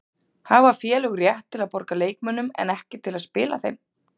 Hafa félög rétt til að borga leikmönnum en ekki til að spila þeim?